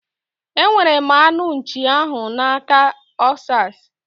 Enwetara m anụ nchii ahu na aka Osas